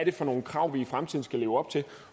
er for nogle krav vi i fremtiden skal leve op til